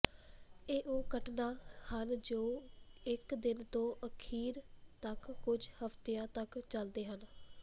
ਇਹ ਉਹ ਘਟਨਾ ਹਨ ਜੋ ਇਕ ਦਿਨ ਤੋਂ ਅਖੀਰ ਤਕ ਕੁਝ ਹਫ਼ਤਿਆਂ ਤੱਕ ਚਲਦੇ ਹਨ